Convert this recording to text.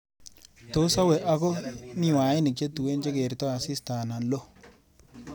Tos awe ako miwanik chetuen chegertoi asista anan olo